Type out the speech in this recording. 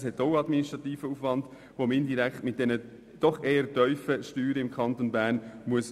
Das ergibt einen administrativen Aufwand, den man indirekt mit dieser, im Kanton Bern doch eher tiefen, Steuer decken können muss.